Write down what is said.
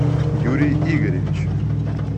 юрий игоревич